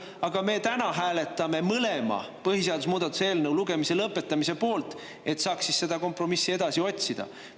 Aga me täna hääletame mõlema põhiseaduse muutmise eelnõu lugemise lõpetamise poolt, et saaks kompromissi edasi otsida.